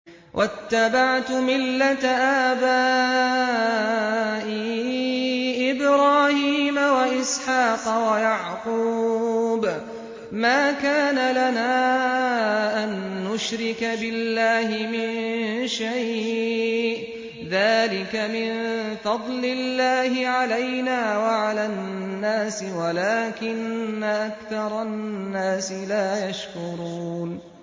وَاتَّبَعْتُ مِلَّةَ آبَائِي إِبْرَاهِيمَ وَإِسْحَاقَ وَيَعْقُوبَ ۚ مَا كَانَ لَنَا أَن نُّشْرِكَ بِاللَّهِ مِن شَيْءٍ ۚ ذَٰلِكَ مِن فَضْلِ اللَّهِ عَلَيْنَا وَعَلَى النَّاسِ وَلَٰكِنَّ أَكْثَرَ النَّاسِ لَا يَشْكُرُونَ